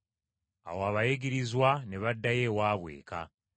Awo abayigirizwa ne baddayo ewaabwe eka.